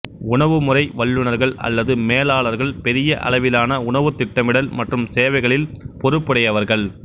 உணவுமுறை வல்லுநர்கள் அல்லது மேலாளர்கள் பெரிய அளவிலான உணவு திட்டமிடல் மற்றும் சேவைகளில் பொறுப்புடையவர்கள்